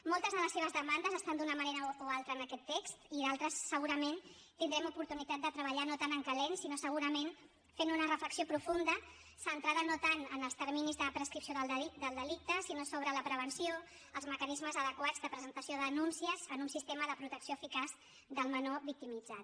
moltes de les seves demandes estan d’una manera o altra en aquest text i d’altres segurament tindrem oportunitat de treballar les no tant en calent sinó segurament fent una reflexió profunda centrada no tant en els terminis de prescripció del delicte sinó sobre la prevenció els mecanismes adequats de presentació de denúncies en un sistema de protecció eficaç del menor victimitzat